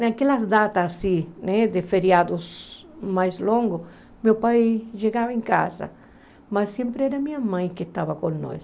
Naquelas datas assim, né de feriados mais longos, meu pai chegava em casa, mas sempre era minha mãe que estava com nós.